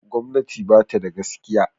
Gwamnati ba tada gaskiya